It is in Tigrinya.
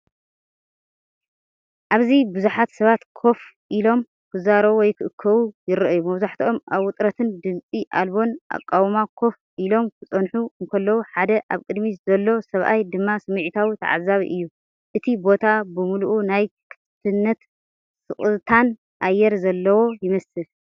ኣብዚ ብዙሓት ሰባት ኮፍ ኢሎም፡ ክዛረቡ ወይ ክእከቡ ይረኣዩ። መብዛሕትኦም ኣብ ውጥረትን ድምጺ ኣልቦን ኣቃውማ ኮፍ ኢሎም ክጸንሑ እንከለዉ፡ሓደ ኣብ ቅድሚት ዘሎ ሰብኣይ ድማ ስምዒታዊ ተዓዛቢ እዩ። እቲ ቦታ ብምሉኡ ናይ ክፉትነትን ስቕታን ኣየር ዘለዎ ይመስል።